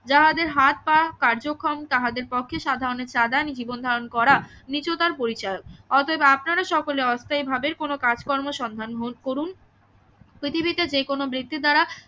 যাহাদের হাত পা কার্যক্ষম তাহাদের পক্ষে সাধারণের চাঁদা নিয়ে জীবন করা নীচতার পরিচয় অতএব আপনারা সকলে অস্থায়ীভাবে কোনো কাজকর্মের সন্ধান করুন পৃথিবীতে যে কোনো ব্যক্তির দ্বারা